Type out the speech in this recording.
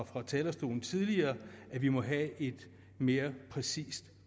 fra talerstolen tidligere at vi må have et mere præcist